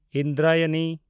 Indrayani